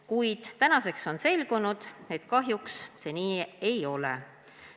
Kuid tänaseks on selgunud, et kahjuks see nii ei ole.